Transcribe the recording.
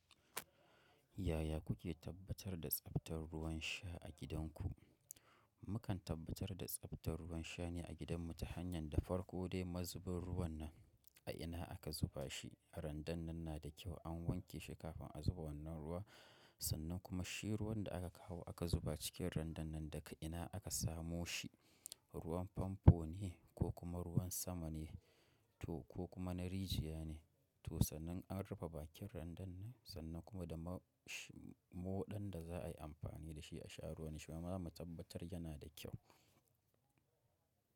Yaya kuke tabbatar da tsabtar ruwan sha a gidanku? Mukan tabbatar da tsabtar ruwan sha ne a gidanmu ta hanyar da farko dai mazubin ruwan nan a ina aka zuba shi. Randan nan na da kyau an wanke shi kafin a zuba wannan ruwa sannan kuma shi ruwan da aka kawo aka zuba cikin randan nan daga ina aka samo shi, ruwan famfo ne ko kuma ruwan sama ne ko kuma na rijiya ne to sannan an rufe bakin randan nan sannan kuma da moɗan da za a yi amfani da shi a sha ruwan shi ma za mu tabbatar yana da kyau.